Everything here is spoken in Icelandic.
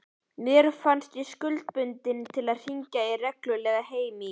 Mér fannst ég skuldbundin til að hringja reglulega heim í